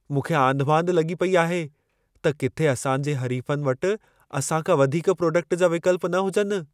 मूंखे आंधिमांधि लॻी पई आहे त किथे असां जे हरीफ़नि वटि असां खां वधीक प्रोडक्ट जा विकल्प न हुजनि।